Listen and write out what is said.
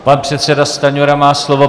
Pan předseda Stanjura má slovo.